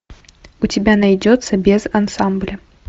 у тебя найдется без ансамбля